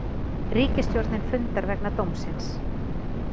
Ríkisstjórnin fundar vegna dómsins